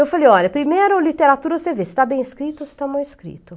Eu falei, olha, primeiro literatura você vê se está bem escrito ou se está mal escrito.